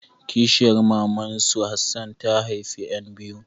Kishiyar maman su Hassan ta haifa ƴan biyu.